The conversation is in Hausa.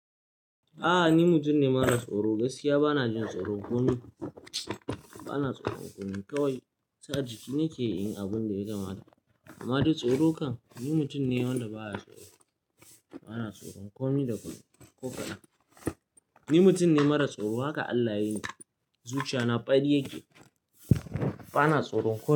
A'a ni mutum ne mara tsoro, gaskiya ba na jin tsoro komi. Ba na tsoron komi kawai sa jiki nakeyi inyi abin da ya kamata. Amma duk tsoro kan ni mutum ne wanda baya tsoro, bana tsoron komi da komi ko ƙadan. Ni mutum ne mara tsoro, haka Allah yayi ni. Zuciya na ɓarri yake, ba na tsoron komi.